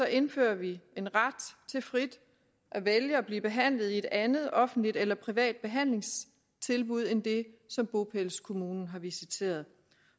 indfører vi en ret til frit at vælge at blive behandlet i et andet offentligt eller privat behandlingstilbud end det som bopælskommunen har visiteret